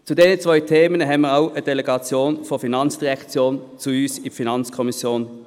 Zu diesen zwei Themen haben wir eine Delegation der FIN zu uns in die FiKo eingeladen.